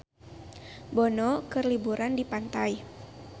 Bono keur liburan di pantai